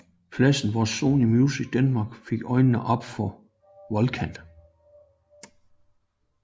Pladsen hvor Sony Music Denmark fik øjnene op for Volkan